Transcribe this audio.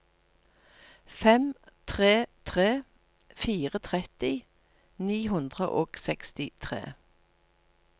fem tre tre fire tretti ni hundre og sekstitre